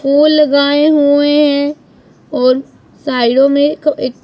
full लगाएं हुए हैं और साइडों में एक--